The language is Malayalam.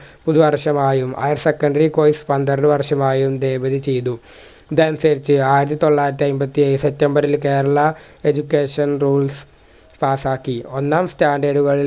പുതുവർഷമായും higher secondary course പന്ത്രണ്ട് വർഷമായും divide ചെയ്തു ഇതനുസരിച്ചു ആയിര്തൊള്ളായിരത്തി അയിമ്പത്തിയേഴ് september ല് കേരള education rules പാസ്സാക്കി ഒന്നാം standard കൾ